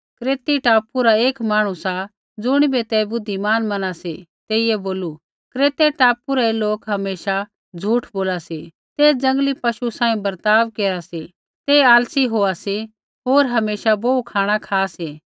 क्रेती टापू रा एक मांहणु सा ज़ुणिबै ते बुद्धिमान मना सी तेई बोलू क्रेतै टापू रै लोक हमेशा झूठ बोला सी ते जंगली पशु सांही बर्ताव केरा सी ते आलसी होआ सी होर हमेशा बोहू खाँणा खा सी